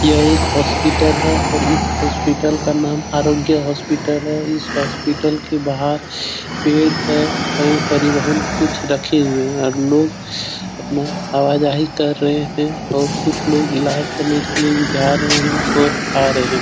यह एक हॉस्पिटल है और इस हॉस्पिटल का नाम आरोग्या हॉस्पिटल है इस हॉस्पिटल के बाहर पेड़ हैं और परिवाहन कुछ रखे हुए हैं लोग अपना आवा-जाही कर रहे हैं और कुछ लोग इलाज़ करने के लिए भी जा रहे हैं और आ रहे हैं ।